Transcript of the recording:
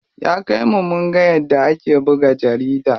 Ya kai mu munga yadda ake buga jarida.